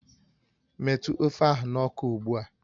Metụ ofe ahụ n'ọkụ ugbu a!